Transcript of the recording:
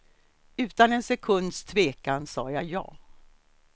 Utan en sekunds tvekan sa jag ja.